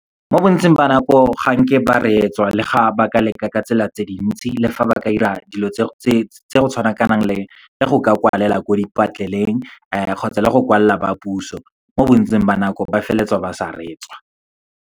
Mo bontsing ba nako, ganke ba reetswa le ga ba ka leka ka tsela tse dintsi le fa ba ka dira dilo tse go tshwanakanang le go ka kwalela ko kgotsa le go kwalela ba puso. Mo bontsing ba nako, ba feleletswa ba sa reetswa.